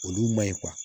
Olu maɲi